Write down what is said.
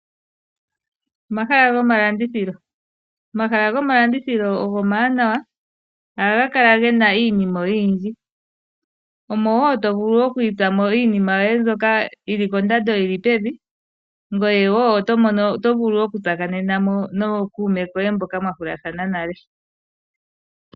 Omahala gomalandithilo omawanawa, ohaga kala gena iinima oyindji. Omo woo tovulu okwiitsamo iinima oyindji mbyono yili kondando yili pevi , ngoye otovulu okutsakanenamo nookuume koye mboka mwahulathana nale.